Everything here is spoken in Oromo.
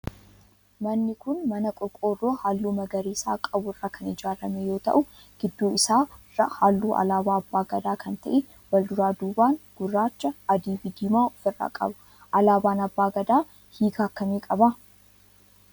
Manni kun mana qorqoorroo halluu magariisa qabu irraa kan ijaarame yoo ta'u gidduu isaa irraa halluu alaabaa abbaa Gadaa kan ta'e wal duraa duuban gurraacha, adii fi diimaa of irraa qaba. Alaabaan abbaa Gadaa hiika akkamii qaba?